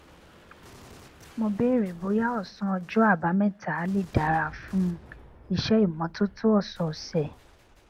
mo béèrè bóyá òsán ọjó àbámẹta lè dára fún iṣé ìmótótó òsòòsè